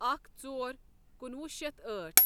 اکھ ژۄر کنوُہ شیتھ أٹھ